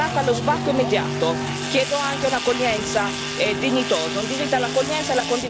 Chiedo anche un'accoglienza dignitosa, un diritto all'accoglienza e la condivisione delle responsabilità.